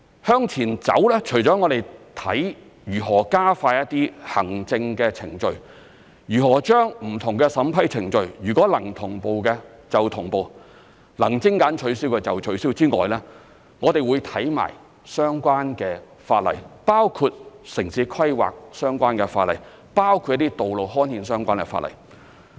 向前走，我們除了看如何加快一些行政程序，如何把不同的審批程序，如果能同步的便同步、能取消的便取消之外，我們亦會檢視相關的法例，包括城市規劃相關的法例、一些道路刊憲相關的法例。